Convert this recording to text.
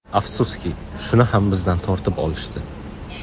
Afsuski, shuni ham bizdan tortib olishdi.